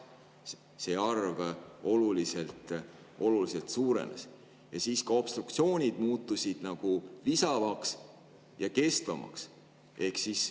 See arv oluliselt suurenes ja obstruktsioonid muutusid nagu visamaks ja kestvamaks.